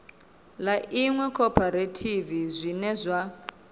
ḽa iṅwe khophorethivi zwine zwa